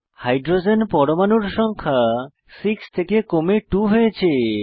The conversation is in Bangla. হাইড্রোজেন পরমাণুর সংখ্যা 6 থেকে কমে 2 হয়েছে